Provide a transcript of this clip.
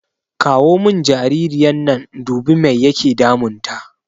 Kawo mun jaririyan nan in dubi mai yake damun ta